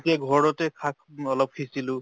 তেতিয়া ঘৰতে শাক অলপ সিচিলো